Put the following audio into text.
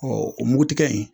o mugu tigɛ in.